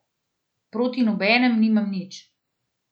Proti nobenem nimam nič.